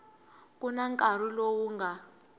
ku na nkarhi lowu nga